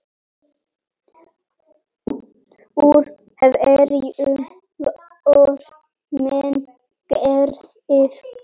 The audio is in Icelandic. Úr hverju voru menn gerðir?